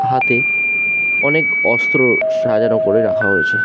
হাতে অনেক অস্ত্র সাজার ওপরে রাখা হয়েছে ।